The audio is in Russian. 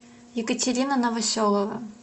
екатерина новоселова